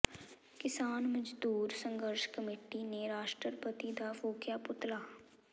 ਕਿਸਾਨ ਮਜ਼ਦੂਰ ਸੰਘਰਸ਼ ਕਮੇਟੀ ਨੇ ਰਾਸ਼ਟਰਪਤੀ ਦਾ ਫੂਕਿਆ ਪੁਤਲਾ